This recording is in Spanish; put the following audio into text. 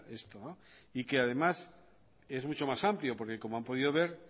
esto y que además es mucho más amplio porque como han podido ver